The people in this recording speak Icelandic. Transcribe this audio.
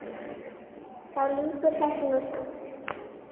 Þá lýkur þessu nú samt.